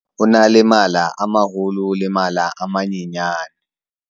o na le mala a maholo le mala a manyenyane